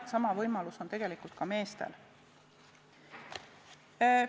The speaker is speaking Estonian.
Sama võimalus on tegelikult ka meestel.